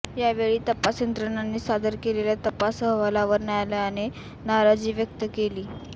यावेळी तपास यंत्रणांनी सादर केलेल्या तपास अहवालावर न्यायालयाने नाराजी व्यक्त केली